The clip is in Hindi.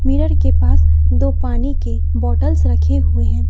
मिलर के पास दो पानी की बॉटल्स रखे हुए है।